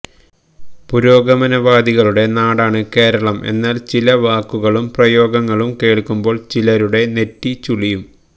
പുരേഗാനവാദികളുടെ നാടാണ് കേരളം എന്നാൽ ചില വാക്കുകളും പ്രയോഗങ്ങളും കേൾക്കുമ്പോൾ ചിലരുടെ നെറ്റി ചുളിയും